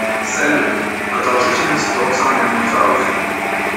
салют продолжительность тот самый мюнхгаузен